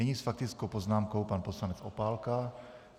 Nyní s faktickou poznámkou pan poslanec Opálka.